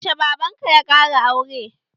Yaushe baban ka ya ƙara aure?